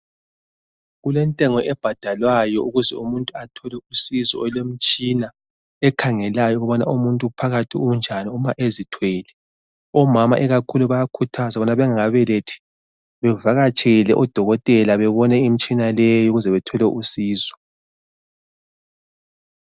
Kulentengo ebhadalwayo ukuze umuntu athole usizo olwemitshina ekhangelayo ukuba umuntu phakathi unjani uma ezithwele. Omama ikakhulu bayakhuthazwa ukubana bengakabelethi bevakatshele odokotela, bebone imitshina leyi ukuze bethole usizo.